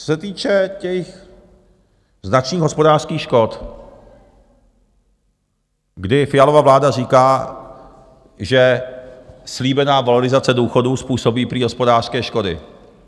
Co se týče těch značných hospodářských škod, kdy Fialova vláda říká, že slíbená valorizace důchodů způsobí prý hospodářské škody.